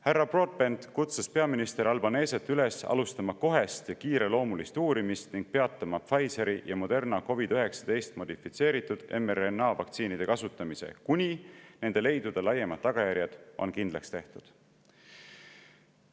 Härra Broadbent kutsus peaminister Albaneset üles alustama kohest ja kiireloomulist uurimist ning peatama Pfizeri ja Moderna COVID‑19 modifitseeritud mRNA vaktsiinide kasutamise, kuni nende leidude laiemad tagajärjed on kindlaks tehtud.